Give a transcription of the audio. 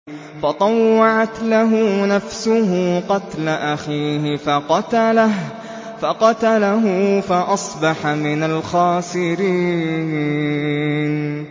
فَطَوَّعَتْ لَهُ نَفْسُهُ قَتْلَ أَخِيهِ فَقَتَلَهُ فَأَصْبَحَ مِنَ الْخَاسِرِينَ